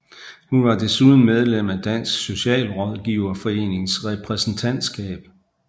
Hun var desuden medlem af Dansk Socialrådgiverforenings repræsentatskab